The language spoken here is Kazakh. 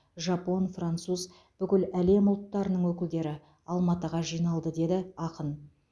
жапон француз бүкіл әлем ұлттарының өкілдері алматыға жиналды деді ақын